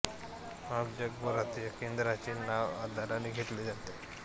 आज जगभरात या केंद्राचे नाव आदराने घेतले जाते